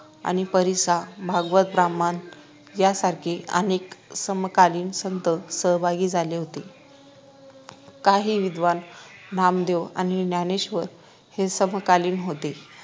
आणि परिसा भागवत ब्राम्हण यांसारखे अनेक समकालीन संत सहभागी झाले होते काही विद्वान नामदेव आणि ज्ञानेश्वर हे समकालीन होते